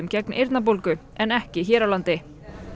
gegn eyrnabólgu en ekki hér á landi